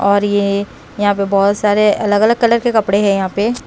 और ये यहाँ पे बहुत सारे अलग-अलग कलर के कपड़े हैं यहाँ पे।